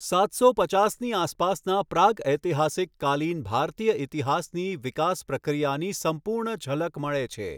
સાતસો પચાસની આસપાસના પ્રાગઐતિહાસિક કાલીન ભારતીય ઈતિહાસની વિકાસ પ્રક્રિયાની સંપૂર્ણ ઝલક મળે છે.